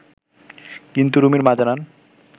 কিন্তু রুমির মা জানান